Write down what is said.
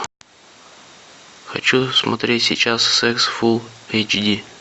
хочу посмотреть сейчас секс фулл эйч ди